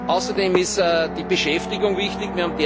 Außerdem ist die Beschäftigung wichtig.